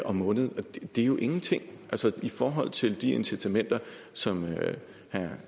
om måneden og det er jo ingenting i forhold til de incitamenter som herre